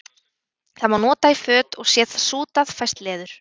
Það má nota í föt og sé það sútað fæst leður.